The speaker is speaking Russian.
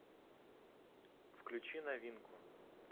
включи новинку